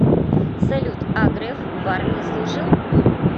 салют а греф в армии служил